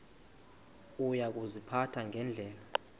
uya kuziphatha ngendlela